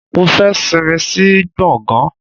Mo fẹ́ sinmi sí gbọ̀ngán.